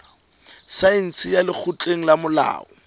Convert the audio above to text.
saense ya lekgotleng la molao